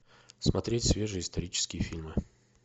смотреть свежие исторические фильмы